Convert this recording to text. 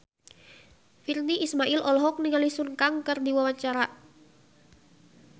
Virnie Ismail olohok ningali Sun Kang keur diwawancara